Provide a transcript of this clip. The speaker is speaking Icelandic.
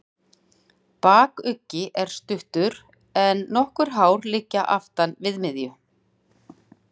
Bakuggi er stuttur, en nokkuð hár og liggur aftan við miðju.